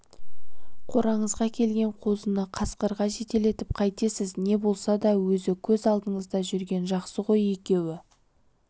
қораңызға келген қозыны қасқырға жетелетіп қайтесіз не болса да өзі көз алдыңызда жүрген жақсы ғой екеуі